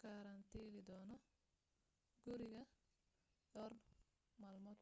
karantilidoono guriga dhowr malmood